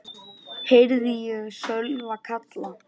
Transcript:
heyrði ég Sölva kalla.